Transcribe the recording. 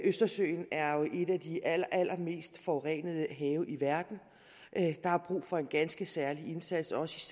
østersøen er jo et af de allerallermest forurenede have i verden der er brug for en ganske særlig indsats også